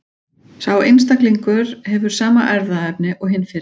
Sá einstaklingur hefur sama erfðaefni og hinn fyrri.